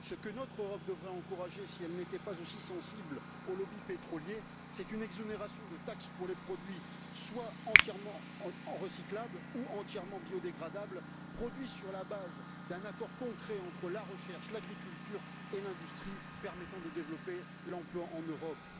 Ce que notre Europe devrait encourager, si elle n'était pas aussi sensible aux lobbies pétroliers, c'est une exonération de taxes pour les produits soit entièrement recyclables, soit entièrement biodégradables, élaborés sur la base d'un accord concret entre la recherche, l'agriculture et l'industrie, et permettant de développer l'emploi en Europe.